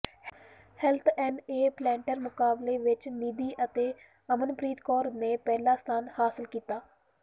health on a platter ਮੁਕਾਬਲੇ ਵਿਚ ਨਿਧੀ ਅਤੇ ਅਮਨਪ੍ਰਰੀਤ ਕੌਰ ਨੇ ਪਹਿਲਾ ਸਥਾਨ ਹਾਸਲ ਕੀਤਾ